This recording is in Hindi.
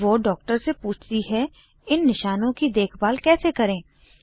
वो डॉ से पूछती है इन निशानों की देखभाल कैसे करें